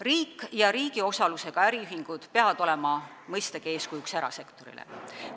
Riik ja riigi osalusega äriühingud peavad olema mõistagi erasektorile eeskujuks.